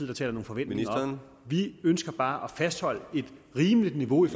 der taler nogle forventninger op vi ønsker bare at fastholde et rimeligt niveau i